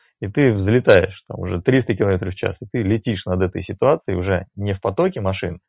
и ты взлетаешь там уже триста километров в час ты летишь над этой ситуации уже не в потоке машин